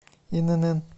инн